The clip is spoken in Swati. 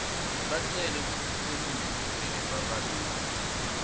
bacele kukhuseliswa njengebabaleki